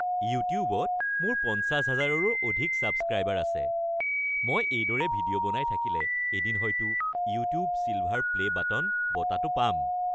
ইউটিউবত মোৰ ৫০ হাজাৰৰো অধিক ছাবস্ক্ৰাইবাৰ আছে। মই এইদৰে ভিডিঅ' বনাই থাকিলে এদিন হয়তো "ইউটিউব ছিলভাৰ প্লে' বাটন" বঁটাটো পাম।